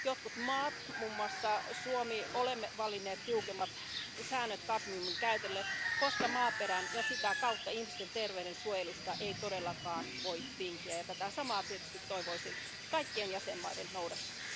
Jotkut maat, muun muassa Suomi, ovat valinneet tiukemmat säännöt kadmiumin käytölle, koska maaperän ja sitä kautta ihmisten terveyden suojelusta ei todellakaan voi tinkiä, ja tätä samaa tietysti toivoisin kaikkien jäsenmaiden noudattavan.